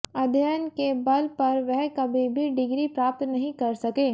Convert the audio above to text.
अध्ययन के बल पर वह कभी भी डिग्री प्राप्त नहीं कर सके